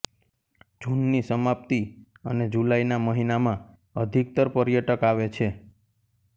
જૂન ની સમાપ્તિ અને જુલાઈ ના મહીનામાં અધિકતર પર્યટક આવે છે